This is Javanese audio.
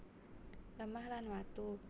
Lemah lan watu